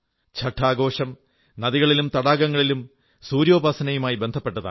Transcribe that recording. ഛഠ് ആഘോഷം നദികളിലും തടാകങ്ങളിലും സൂര്യോപാസനയുമായി ബന്ധപ്പെട്ടതാണ്